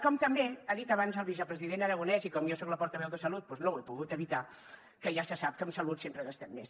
com també ha dit abans el vicepresident aragonès i com jo soc la portaveu de salut doncs no ho he pogut evitar que ja se sap que en salut sempre gastem més